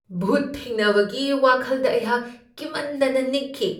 ꯚꯨꯠ ꯊꯦꯡꯅꯕꯒꯤ ꯋꯥꯈꯜꯗ ꯑꯩꯍꯥꯛ ꯀꯤꯃꯟꯗꯅ ꯅꯤꯛꯈꯤ ꯫